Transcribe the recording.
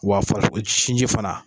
Wa farisoko sinji fana.